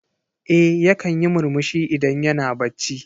Eh yakan yi murmushi idan yana bacci.